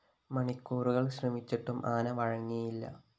മണിക്കൂറുകള്‍ ശ്രമിച്ചിട്ടും ആന വഴങ്ങിയില്ല